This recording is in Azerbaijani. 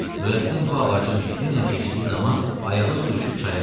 Nurəddin bu ağacın üstüylə keçdiyi zaman ayağı sürüşüb çaya düşdü.